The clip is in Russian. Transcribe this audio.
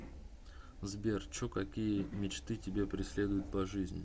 сбер чо какие мечты тебя преследуют по жизни